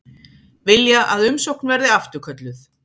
Vilja að umsókn verði afturkölluð